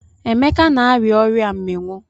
Emeka na-arịa ọria mmiwụ.